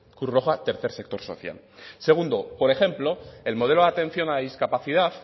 cruz roja tercer sector social segundo por ejemplo el modelo de atención a la discapacidad